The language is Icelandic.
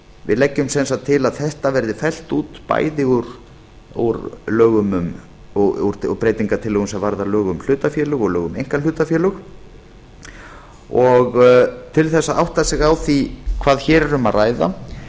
við leggjum sem sagt til að þetta verði fellt út bæði úr breytingartillögum sem varða lög um hlutafélög og lög um einkahlutafélög og til þess að átta sig á því hvað hér er um að ræða